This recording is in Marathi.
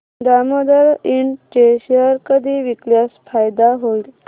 दामोदर इंड चे शेअर कधी विकल्यास फायदा होईल